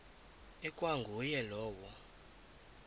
ikwa nguye lowo